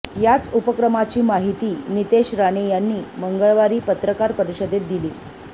याच उपक्रमाची माहिती नितेश राणे यांनी मंगळवारी पत्रकार परिषदेत दिली